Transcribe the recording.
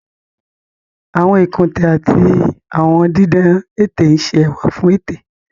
Àwọn ikunte ati awọn didan ete n ṣe ẹwa fun ete.